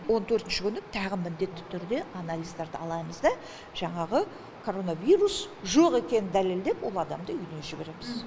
он төртінші күні тәғы міндетті түрде анализдарды аламыз да жаңағы коронавирус жоқ екенін дәлелдеп ол адамды үйіне жібереміз